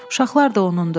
Uşaqlar da onunndur.